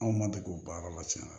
Anw ma degun baara la tiɲɛ yɛrɛ la